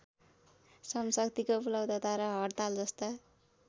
श्रमशक्तिको उपलब्धता र हड्तालजस्ता